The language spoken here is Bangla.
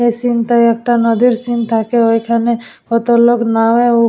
এই সিন টায় একটা নদীর সিন থাকে ওইখানে কত লোক নামে ও উ--